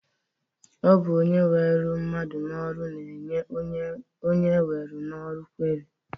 Ọ bụ onye weru mmadụ n'ọrụ na-enye onye ewere n'ọrụ kweri